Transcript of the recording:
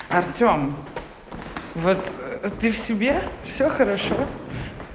артём вот ты в себе всё хорошо